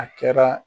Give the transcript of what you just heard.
A kɛra